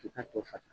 K'i ka to fasa